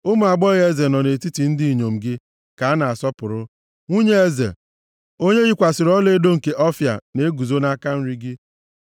Ụmụ agbọghọ eze nọ nʼetiti ndị inyom gị ka a na-asọpụrụ; nwunye eze, onye yikwasịrị ọlaedo nke Ọfịa na-eguzo nʼaka nri gị.